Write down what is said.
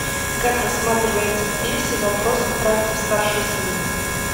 как рассматривается в пьесе вопрос о правде старший сын